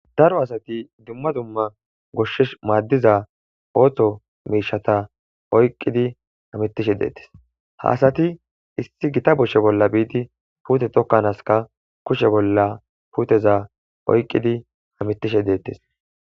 daro asati dumma dumma goshshesh maaddiza ooththo miishata oyqqidi hamittishe deettes haasati issi gita boshshe bolla biidi puute tokkanaaska kushe bolla puuteza oyqqidi hamittishe deettes